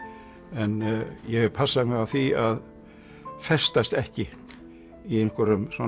en ég hef passað mig á því að festast ekki í einhverjum svona